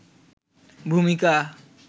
ভূমিকা